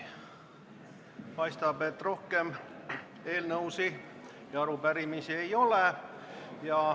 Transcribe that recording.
Paistab, et rohkem eelnõusid ja arupärimisi ei ole.